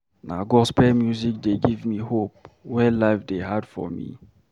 Na gospel music dey give me hope wen life dey hard for me.